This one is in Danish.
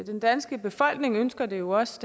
den danske befolkning ønsker det jo også